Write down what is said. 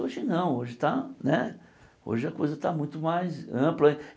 Hoje não, hoje está né hoje a coisa está muito mais ampla.